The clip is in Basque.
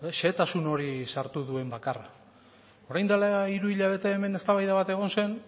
xehetasun hori sartu duen bakarra orain dela hiru hilabete hemen eztabaida bat egon zen